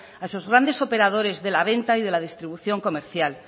a esos grandes operadores de la venta y la distribución comercial